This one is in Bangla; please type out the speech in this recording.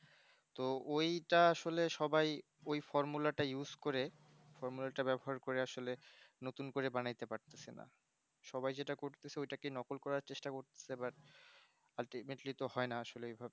ওইটা আসলে সবাই ওই formula করে formula টা ব্যবহার করে আসলে নতুন করে বানাইতে পারছে সবাই যেটা করতেছে ওইটা কিন্তু ওটাকে নকল করার চেষ্টা করতেছে but ultimately তো হয় না আসলে